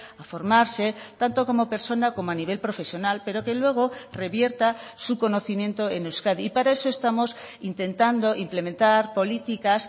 a formarse tanto como persona como a nivel profesional pero que luego revierta su conocimiento en euskadi y para eso estamos intentando implementar políticas